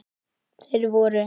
Þeir voru